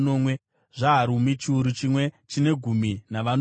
zvaHarimu, chiuru chimwe chine gumi navanomwe.